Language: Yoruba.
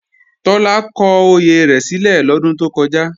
Tọ́lá kọ oyè rẹ̀ sílẹ̀ lọ́dún tó kọjá